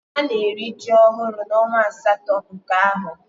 Ana eri ji ohuru na onwa asato nke aho